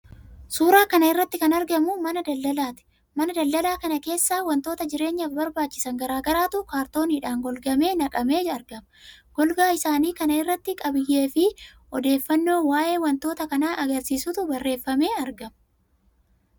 Suuraa kana irratti kan argamu mana daldalaati. Mana daldalaa kana keessa wantoota jireenyaaf barbaachisan garaa garaatu kaartooniidhaan golgamee naqamee argama. Golgaa isaanii kana irratti qabiyyee fi odeeffannoo waa'ee wantoota kanaa agarsiisutu barreeffamee argama.